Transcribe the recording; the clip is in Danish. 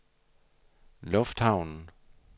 lufthavnen